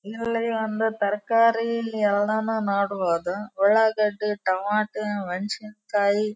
ಇವ್ರೆಲ್ಲ ಅಂದು ತರಕಾರಿ ಇಲ್ಲಿ ಎಲ್ಲಾನು ನೋಡಬಹುದು ಉಳ್ಳಾಗಡ್ಡಿ ಟೊಮೇಟೊ ಮೆಣಸಿನ್ಕಾಯಿ --